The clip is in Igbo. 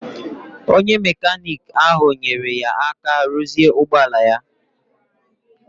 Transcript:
Onye mekaniki ahụ nyeere ya aka ruzie ụgbọala ya